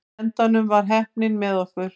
Í endanum var heppnin með okkur.